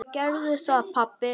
Gerðu það pabbi!